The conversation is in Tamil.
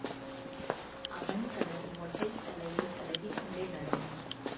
அவன் தனது மொட்டை தலையை தடவிக் கொண்டே நடந்தான்